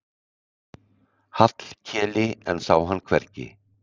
Hallkeli en sá hann hvergi.